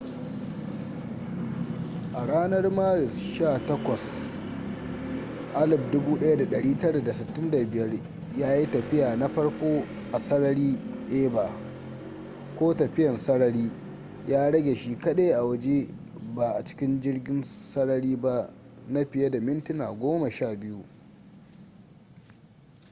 a ranar maris 18 1965 ya yi tafiya na farko a sarari eva ko tafiyan sarari” ya rage shi kadai a waje ba a cikin jirgin sarari ba na fiye da mintuna goma sha biyu